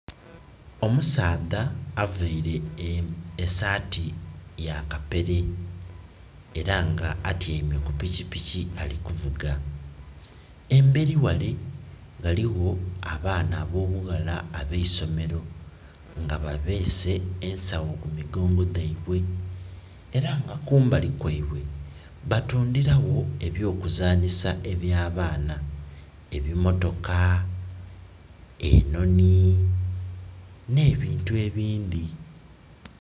Omusaadha availe esaati ya kapere era nga atyaime ku pikipiki ali kuvuga. Embeli ghale ghaligho abaana abo bughala ab'eisomero, nga babeese ensawo ku migongo dhaibwe. Era nga kumbali kwaibwe, batundhila gho eby'okuzanhisa ebya baana. Ebimotoka, enhonhi, nh'ebintu ebindhi.